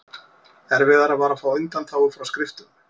Erfiðara var að fá undanþágu frá skriftum.